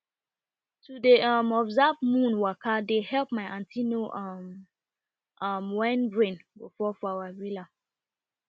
to de um observe moon waka dey help my aunty know um um when rain go fall for our villa